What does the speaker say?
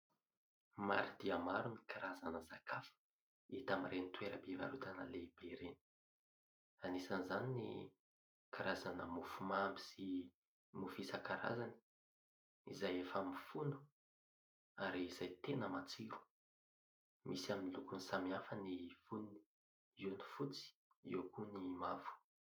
Maro dia maro ny karazana sakafo hita amin'ireny toeram-pivarotana lehibe ireny ; anisan'izany ny karazana mofomamy sy mofo isan-karazany ; izay efa mifono ary izay tena matsiro. Misy amin'ny lokony samihafa ny fonony eo ny fotsy eo koa ny mavo.